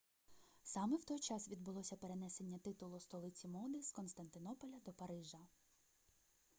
саме в той час відбулося перенесення титулу столиці моди з константинополя до парижа